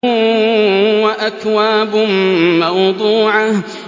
وَأَكْوَابٌ مَّوْضُوعَةٌ